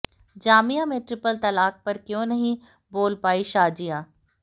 जामिया में ट्रिपल तलाक पर क्यों नहीं बोल पाईं शाज़िया